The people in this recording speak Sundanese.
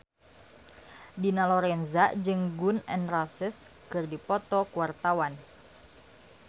Dina Lorenza jeung Gun N Roses keur dipoto ku wartawan